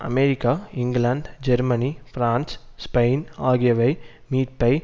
America England Germany France Spain ஆகியவை மீட்பை